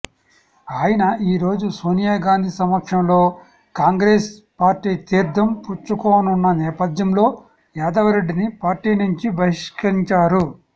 ఆయన ఈరోజు సోనియా గాంధీ సమక్షంలో కాంగ్రెస్ పార్టీ తీర్థం పుచ్చుకోనున్న నేపథ్యంలో యాదవరెడ్డిని పార్టీ నుంచి బహిష్కరించారు